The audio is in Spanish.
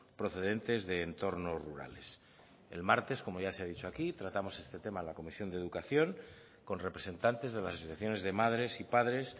procedentes de entornos rurales el martes como ya se ha dicho aquí tratamos este tema en la comisión de educación con representantes de las asociaciones de madres y padres